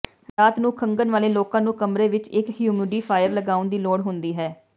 ਰਾਤ ਨੂੰ ਖੰਘਣ ਵਾਲੇ ਲੋਕਾਂ ਨੂੰ ਕਮਰੇ ਵਿਚ ਇਕ ਹਿਊਮਿਡੀਫਾਇਰ ਲਗਾਉਣ ਦੀ ਲੋੜ ਹੁੰਦੀ ਹੈ